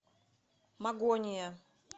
магония